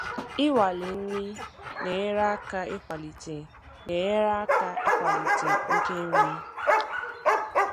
Inwale nri na-enyere aka ịkwalite na-enyere aka ịkwalite oke nri.